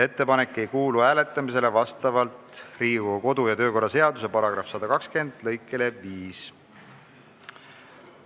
Ettepanek ei kuulu vastavalt Riigikogu kodu- ja töökorra seaduse § 120 lõikele 5 hääletamisele.